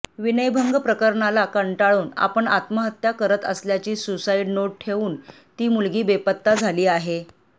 विनयभंग प्रकरणाला कंटाळून आपण आत्महत्या करत असल्याची सुसाईड नोट ठेवून ती मुलगी बेपत्ता झाली आहे